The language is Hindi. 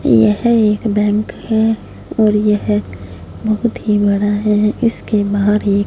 यह एक बैंक है और यह बहुत ही बड़ा है इसके बाहर एक--